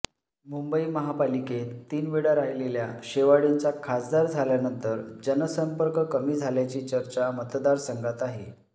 मुंबई महापालिकेत तीन वेळा राहिलेल्या शेवाळेंचा खासदार झाल्यानंतर जनसंपर्क कमी झाल्याची चर्चा मतदारसंघात आहे